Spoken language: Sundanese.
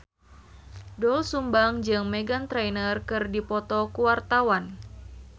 Doel Sumbang jeung Meghan Trainor keur dipoto ku wartawan